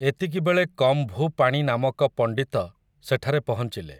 ଏତିକିବେଳେ କମ୍ଭୁପାଣି ନାମକ ପଣ୍ଡିତ ସେଠାରେ ପହଞ୍ଚିଲେ ।